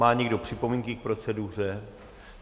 Má někdo připomínky k proceduře?